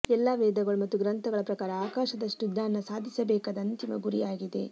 ಎಲ್ಲಾ ವೇದಗಳು ಮತ್ತು ಗ್ರಂಥಗಳ ಪ್ರಕಾರ ಆಕಾಶದಷ್ಟು ಜ್ಞಾನ ಸಾಧಿಸಬೇಕಾದ ಅಂತಿಮ ಗುರಿಯಾಗಿದೆ